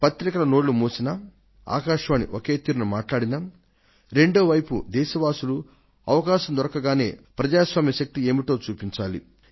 పత్రికల నోళ్లు మూసినా ఆకాశవాణి ఒకే తీరున మాట్లాడినా రెండో వైపు దేశవాసులు అవకాశం దొరకగానే ప్రజాస్వామ్య శక్తి ఏమిటో చూపించాలి